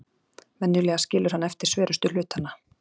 Venjulega skilur hann eftir sverustu hlutana.